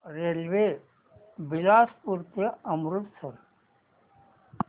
railway Bilaspur ते अमृतसर